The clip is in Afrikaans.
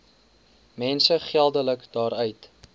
mense geldelik daaruit